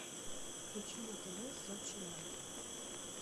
включи на тв сочи лайф